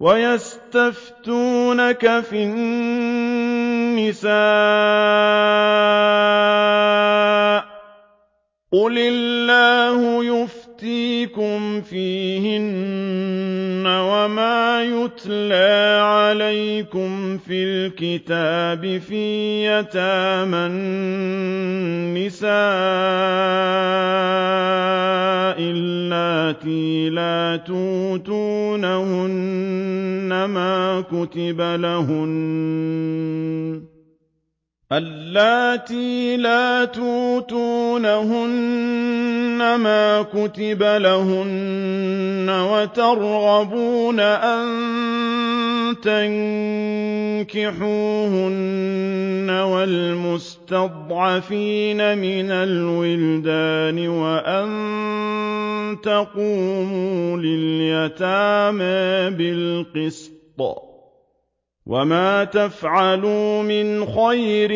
وَيَسْتَفْتُونَكَ فِي النِّسَاءِ ۖ قُلِ اللَّهُ يُفْتِيكُمْ فِيهِنَّ وَمَا يُتْلَىٰ عَلَيْكُمْ فِي الْكِتَابِ فِي يَتَامَى النِّسَاءِ اللَّاتِي لَا تُؤْتُونَهُنَّ مَا كُتِبَ لَهُنَّ وَتَرْغَبُونَ أَن تَنكِحُوهُنَّ وَالْمُسْتَضْعَفِينَ مِنَ الْوِلْدَانِ وَأَن تَقُومُوا لِلْيَتَامَىٰ بِالْقِسْطِ ۚ وَمَا تَفْعَلُوا مِنْ خَيْرٍ